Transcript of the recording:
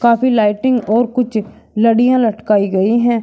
अभी लाइटिंग और कुछ लड़ियां लटकी गई हैं।